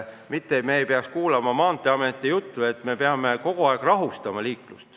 Me ei peaks kuulama Maanteeameti juttu, et me peame liiklust rahustama.